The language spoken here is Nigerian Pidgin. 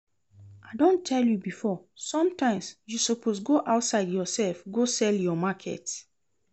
I don tell you before, sometimes you suppose go outside yourself go sell your market